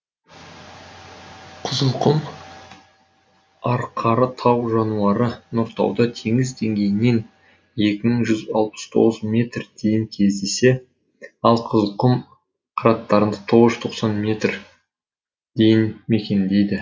қызылқұм арқары тау жануары нұртауда теңіз деңгейінен екі мың жүз алпыс тоғыз метр дейін кездесе ал қызылқұм қыраттарын тоғыз жүз тоқсан метр дейін мекендейді